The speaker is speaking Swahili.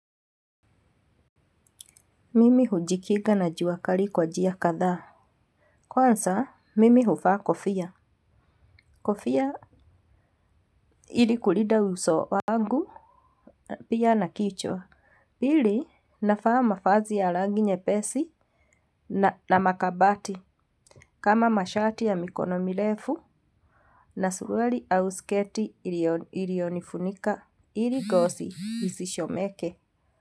Mimi hujikinga na jua kali kwa njia kadhaa. Kwanza, mimi huvaa kofia. Kofia ili kulinda uso wangu. Pia na kichwa. Pili, navaa mavazi ya rangi nyepesi na makabati. Kama mashati ya mikono mirefu. Na suruali au sketi iliyonifunika. Ili ngozi isichomeke.